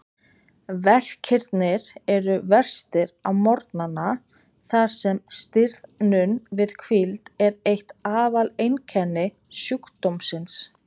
Verkirnir eru verstir á morgnana þar sem stirðnun við hvíld er eitt aðaleinkenni sjúkdómsins.